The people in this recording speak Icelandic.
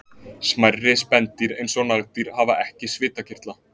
Smærri spendýr eins og nagdýr hafa ekki svitakirtla.